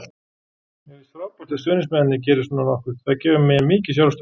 Mér finnst frábært að stuðningsmennirnir geri svona nokkuð, það gefur mér mikið sjálfstraust.